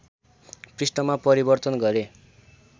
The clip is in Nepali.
पृष्ठमा परिवर्तन गरे